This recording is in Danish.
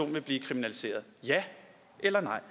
vil blive kriminaliseret ja eller nej